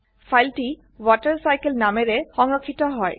file টি WaterCycleনামে সংৰক্ষিত হয়